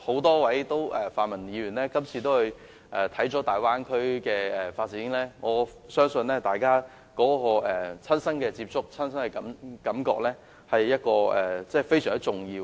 多位泛民議員這次皆意識到大灣區的發展，我相信親身接觸和感受是非常重要的。